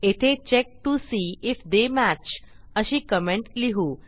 येथे check T O C if they match अशी comment लिहू